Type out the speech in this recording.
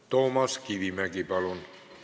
Toomas Kivimägi, palun!